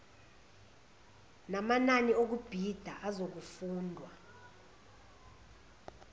namanani okubhida azokufundwa